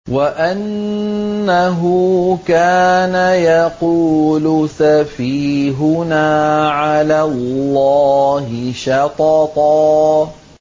وَأَنَّهُ كَانَ يَقُولُ سَفِيهُنَا عَلَى اللَّهِ شَطَطًا